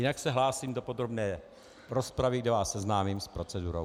Jinak se hlásí do podrobné rozpravy, kde vás seznámím s procedurou.